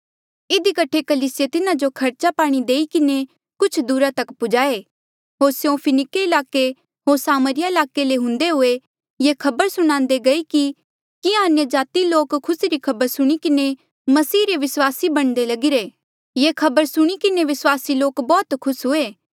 इधी कठे कलीसिये तिन्हा जो खर्चा पाणी देई किन्हें कुछ दुरा तक पुज्हा ऐ होर स्यों फिनिके ईलाके होर सामरिया ईलाके ले हुंदे हुए ये खबर सुणान्दे गये कि किहां अन्यजाति लोका खुसी री खबर सुण कर मसीही रे विस्वास बणदे लगिरे ये खबर सुणी किन्हें विस्वासी लोक बौह्त खुस हुए